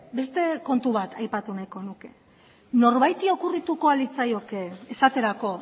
beste kontu bat aipatu nahiko nuke norbaiti okurrituko al litzaioke esaterako